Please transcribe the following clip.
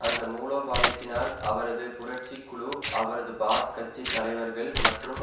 அந்த மூலோபாயத்தினால் அவரது புரட்சி குழு அவரது பாத் கட்சி தலைவர்கள் மற்றும்